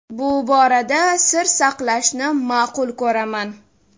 Bu borada sir saqlashni ma’qul ko‘raman.